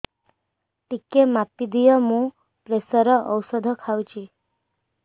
ଟିକେ ମାପିଦିଅ ମୁଁ ପ୍ରେସର ଔଷଧ ଖାଉଚି